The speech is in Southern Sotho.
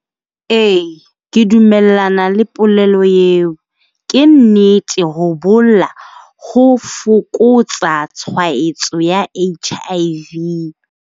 E, ke dumellana le polelo eo. Ke nnete ho bolla ho fokotsa tshwaetso ya H_I_V.